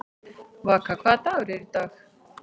Vaka, hvaða dagur er í dag?